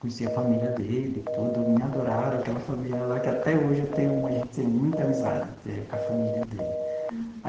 Conheci a família dele, tudo, me adoraram, aquela família lá que até hoje eu tenho a gente tem muita amizade entendeu com a família dele.